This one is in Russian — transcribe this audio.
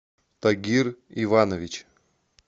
тагир иванович